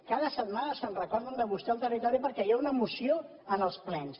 cada setmana se’n recorden de vostè al territori perquè hi ha una moció en els plens